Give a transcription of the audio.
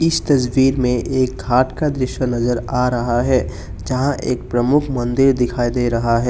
इस तस्वीर में एक घाट का दृश्य नजर आ रहा है जहां एक प्रमुख मंदिर दिखाई दे रहा है।